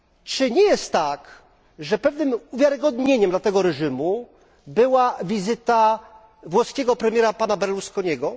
Czy nie jest tak, że pewnym uwiarygodnieniem dla tego reżimu była wizyta włoskiego premiera pana Berlusconiego?